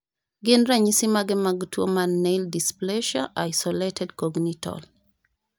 Gin ranyisi mage mar tuo mar Nail dysplasia, isolated congenital?